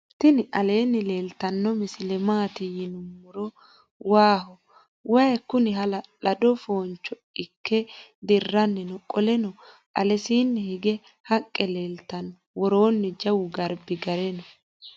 tinialeni leltano masile maati yinumoeo waho wyi kuni hala'lado foncho iike diranni noo. qooleno alesini hige haqe leltano . woronni jawu garbi gaare noo.